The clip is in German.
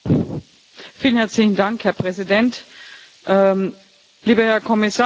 Herr Präsident, lieber Herr Kommissar, liebe Kolleginnen und Kollegen!